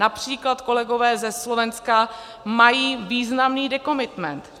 Například kolegové ze Slovenska mají významný decommitment.